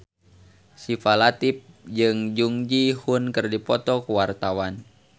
Syifa Latief jeung Jung Ji Hoon keur dipoto ku wartawan